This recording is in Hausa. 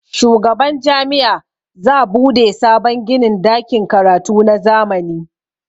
shugaban Jami'a za bude sabon ginin dakin karatu na zamani